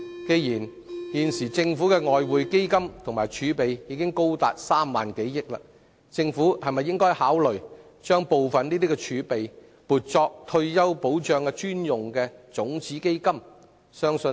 鑒於現時政府的外匯基金及儲備高達3萬億元，政府會否考慮把部分儲備撥作退休保障專用的種子基金？